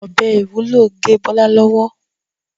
ọbẹ IwUlO gé Bola lọwọ.